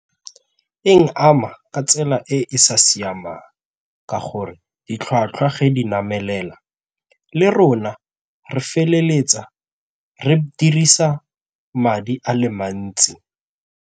Eng ama ka tsela e e sa siamang ka gore ditlhwatlhwa ge di namelela le rona re feleletsa re dirisa madi a le mantsi.